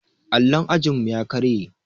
Allon ajinmu ya karye.